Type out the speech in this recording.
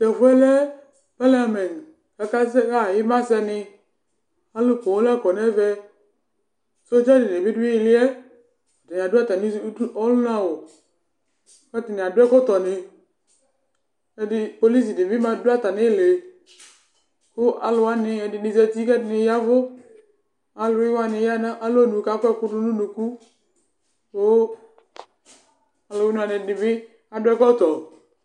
Tu ɛfu yɛ lɛ ima sɛ ni Alu poo la kɔ nu ɛvɛ Sodza dini bi du ili yɛ Adu atami uvini nu ɔluna o Ɛdini adu ɛkɔtɔni Pɔlisi dini bi ma du atami iili Ku alu wani ɛdini za uti ku ɛdini ya ɛvu Awli wani ya nu alɔnu ku akɔ ɛku du nu unuku Ku ɔluna ɔludini bi adu ɛkɔtɔ